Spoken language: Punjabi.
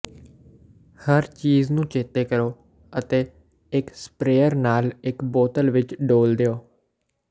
ਹਰ ਚੀਜ਼ ਨੂੰ ਚੇਤੇ ਕਰੋ ਅਤੇ ਇੱਕ ਸਪਰੇਅਰ ਨਾਲ ਇੱਕ ਬੋਤਲ ਵਿੱਚ ਡੋਲ੍ਹ ਦਿਓ